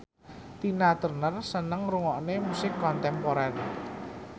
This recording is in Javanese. Tina Turner seneng ngrungokne musik kontemporer